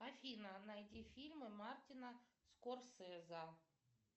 афина найди фильмы мартина скорсезе